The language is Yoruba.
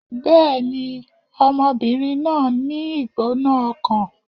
Bẹ́ẹ̀ni, ọmọbìnrin náà ń ní ìgbóná-ọkàn